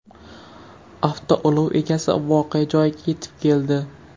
Avtoulov egasi voqea joyiga yetib keldi.